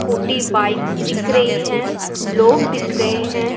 Scooty bikes दिख रही है लोग दिख रहे हैं।